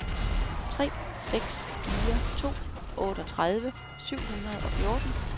tre seks fire to otteogtredive syv hundrede og fjorten